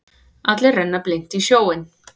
Allir renna blint í sjóinn.